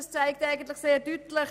Daran sieht man es deutlich: